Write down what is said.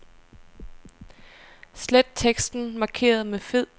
Slet teksten markeret med fed.